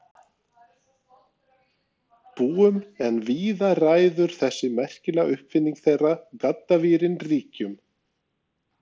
Búum en víða ræður þessi merkilega uppfinning þeirra, gaddavírinn, ríkjum.